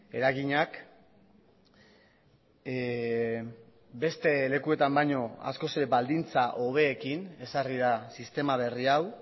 eraginak beste lekuetan baino askoz ere baldintza hobeekin ezarri da sistema berri hau